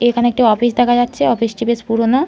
এখানে একটি অফিস দেখা যাচ্ছে অফিস - টি বেশ পুরানো ।